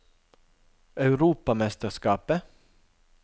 europamesterskapet